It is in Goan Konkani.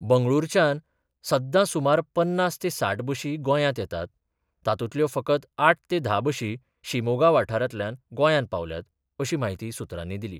बंगळुरांच्यान सद्दा सुमार पन्नास ते साठ बशी गोंयांत येतात, तातूंतल्यो फकत आठ ते धा बशी शिमोगा वाठारांतल्यान गोंयांत पावल्यात अशी म्हायती सुत्रांनी दिली.